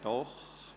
Doch.